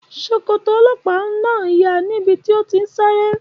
Ṣòkòtò ọlọ́pàá náà ya níbi tó ti ń sáré